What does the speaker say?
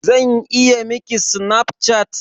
Zan iya Miki Snapchat?